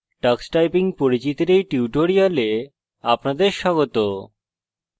tux typing tux typing এর পরিচিতির এই tutorial আপনাদের স্বাগত